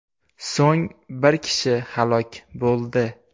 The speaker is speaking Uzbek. So‘ng bir kishi halok bo‘ldi .